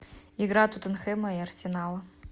игра тоттенхэма и арсенала